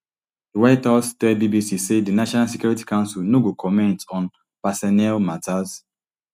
di white house tell bbc say di national security council no go comment on personnel matters